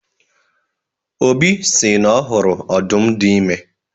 Obi sị na ọ hụrụ ọdụm dị ime